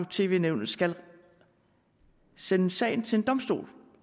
tv nævnet skal sende sagen til en domstol